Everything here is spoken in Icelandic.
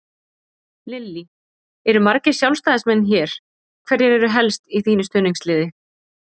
Lillý: Eru margir Sjálfstæðismenn hér, hverjir eru helst í þínu stuðningsliði?